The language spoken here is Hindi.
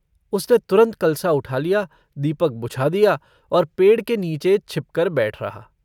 उसने तुरन्त कलसा उठा लिया दीपक बुझा दिया और पेड़ के नीचे छिपकर बैठ रहा।